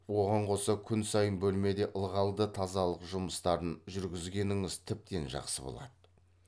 оған қоса күн сайын бөлмеде ылғалды тазалық жұмыстарын жүргізгеніңіз тіптен жақсы болады